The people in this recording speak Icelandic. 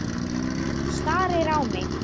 Hann starir á mig.